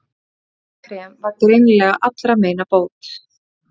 Þetta bleika krem var greinilega allra meina bót.